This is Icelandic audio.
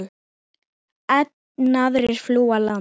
Enn aðrir flúðu land.